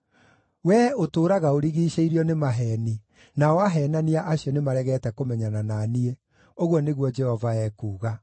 Wee ũtũũraga ũrigiicĩirio nĩ maheeni, nao aheenania acio nĩmaregete kũmenyana na niĩ,” ũguo nĩguo Jehova ekuuga.